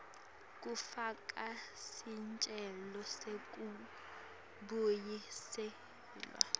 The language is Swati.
kufaka sicelo sekubuyiselwa